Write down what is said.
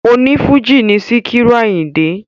O ní Fújì ni Sikiru Àyìndé